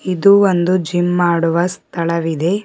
ಇದು ಒಂದು ಜಿಮ್ ಮಾಡುವ ಸ್ಥಳವಿದೆ.